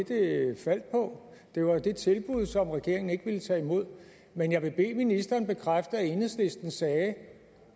faldt på det var jo det tilbud som regeringen ikke ville tage imod men jeg vil bede ministeren bekræfte at enhedslisten sagde